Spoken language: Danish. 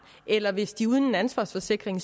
eller hvis de uden en ansvarsforsikring